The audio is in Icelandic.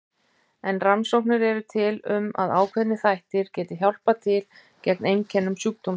En rannsóknir eru til um að ákveðnir þættir geti hjálpað til gegn einkennum sjúkdómsins.